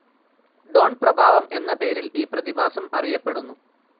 Don പ്രഭാവം എന്ന പേരിൽ ഈ പ്രതിഭാസം അറിയപ്പെടുന്നു.